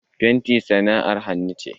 Fenti sana'ar hannu ce.